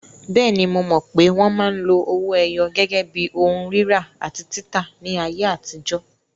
Bẹ́ẹ̀ni, mo mọ̀ pé wọn máa ń lo owó ẹyọ gẹ́gẹ́ bí ohun rírà àti títà ní ayé àtijọ́.